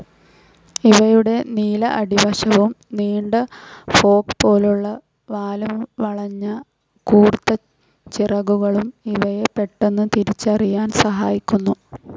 ഇവയുടെ നീല അടിവശവും, നീണ്ട ഫോർക്ക്‌ പോലുള്ള വാലുംവളഞ്ഞ കൂർത്ത ചിറകുകളും ഇവയെ പെട്ടെന്ന് തിരിച്ചറിയാൻ സഹായിക്കുന്നു.